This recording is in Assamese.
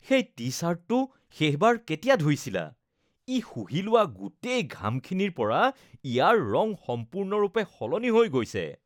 সেই টি-চাৰ্টটো শেষবাৰ কেতিয়া ধুইছিলা ? ই শুহি লোৱা গোটেই ঘামখিনিৰ বাবে ইয়াৰ ৰং সম্পূৰ্ণৰূপে সলনি হৈ গৈছে